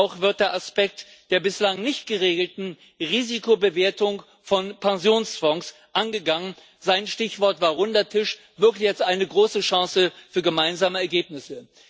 Auch wird der Aspekt der bislang nicht geregelten Risikobewertung von Pensionsfonds angegangen sein Stichwort war Runder Tisch, wirklich als eine große Chance für gemeinsame Ergebnisse.